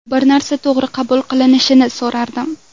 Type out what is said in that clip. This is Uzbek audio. Bir narsa to‘g‘ri qabul qilinishini so‘rardim.